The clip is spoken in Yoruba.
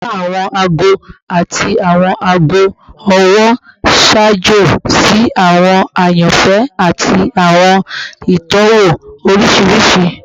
Wiwa awọn aago ati awọn aago ọwọ n ṣaajo si awọn ayanfẹ ati awọn itọwo oriṣiriṣi